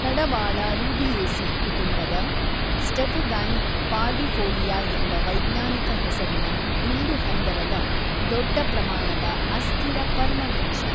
ಕಡವಾಳ Rubiaceae ಕುಟುಂಬದ Stephegyne parvifolia ಎಂಬ ವೈಜ್ಙಾನಿಕ ಹೆಸರಿನ ದುಂಡು ಹಂದರದ ದೊಡ್ಡ ಪ್ರಮಾಣದ ಅಸ್ಥಿರ ಪರ್ಣವೃಕ್ಷ.